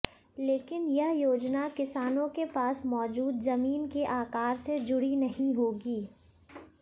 लेकिन यह योजना किसानों के पास मौजूद जमीन के आकार से जुड़ी नहीं होगी